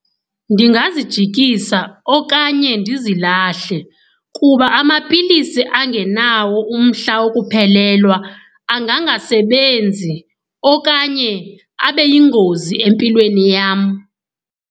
Ndingazijikisa okanye ndizilahle kuba amapilisi angenawo umhla wokuphelelwa angangasebenzi okanye abe yingozi empilweni yam.